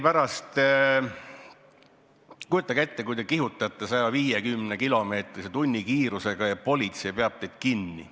Kujutage ette, kui te kihutate 150-kilomeetrise tunnikiirusega ja politsei peab teid kinni.